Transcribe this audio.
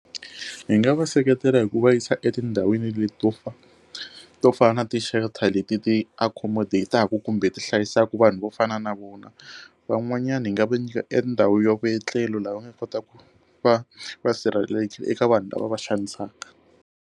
Hi nga va seketela hi ku va yisa etindhawini leti to to fana na ti shelter leti ti accommodate-taka kumbe ti hlayisaka vanhu vo fana na vana van'wanyana hi nga va nyika endhawu yo vuetlelo lava nga kotaka ku va va sirhelelekile eka vanhu lava va xanisaka.